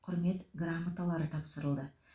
құрмет грамоталары тапсырылды